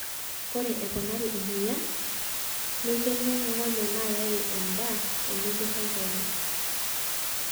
Ore eponari emoyian, neikeno ngonyo naayaki endaa eneiborr enkongu.